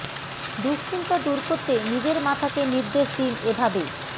দুঃশ্চিন্তা দূর করতে নিজের মাথাকে নির্দেশ দিন এ ভাবে